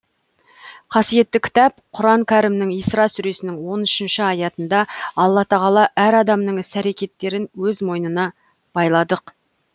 қасиетті кітап құран кәрімнің исра сүресінің он үшінші аятында алла тағала әр адамның іс әрекеттерін өз мойнына байладық